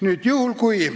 Palun lisaaega!